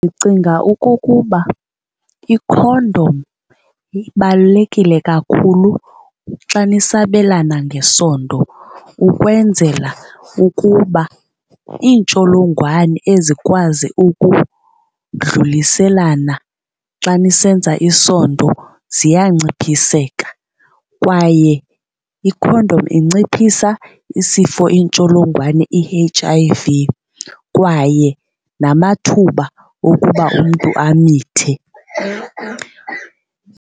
Ndicinga okokuba ikhondom ibalulekile kakhulu xa nisabelana ngesondo ukwenzela ukuba iintsholongwane ezikwazi ukudluliselana xa nisenza isondo ziyanciphiseka, kwaye ikhondom inciphisa isifo intsholongwane i-H_I_V kwaye namathuba okuba umntu amithe.